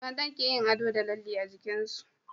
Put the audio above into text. mata keyin ado da lalle a jikinsu